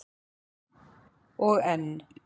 Og enn